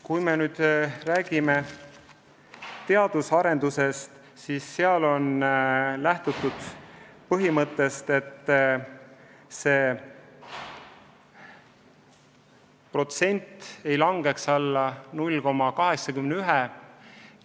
Kui me räägime teadus-arendustööst, siis selle puhul on lähtutud põhimõttest, et selleks eraldatud summa ei langeks alla 0,81% SKP-st.